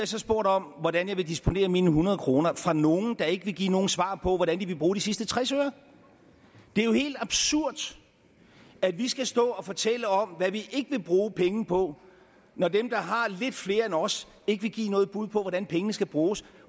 så spurgt om hvordan jeg vil disponere mine hundrede kroner af nogle der ikke vil give nogen svar på hvordan de vil bruge de sidste tres øre det er jo helt absurd at vi skal stå og fortælle om hvad vi ikke vil bruge penge på når dem der har lidt flere end os ikke vil give noget bud på hvordan pengene skal bruges